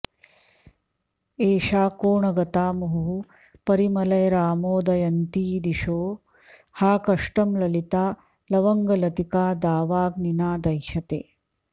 एषा कोणगता मुहुः परिमलैरामोदयन्तीदिशो हा कष्टं ललिता लवङ्गलतिकादावाग्निना दह्यते